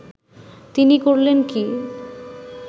তিনি করলেন কি